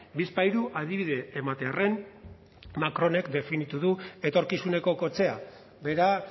bizpahiru adibide ematearren macronek definitu du etorkizuneko kotxea bera